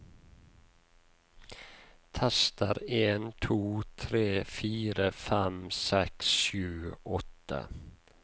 Tester en to tre fire fem seks sju åtte